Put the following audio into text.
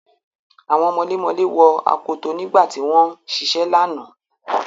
Àwọn mọlémọlẹ́ wọ akoto nígbà tí wọ́n ń ṣiṣẹ́ lánàá.